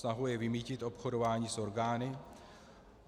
Snahou je vymýtit obchodování s orgány.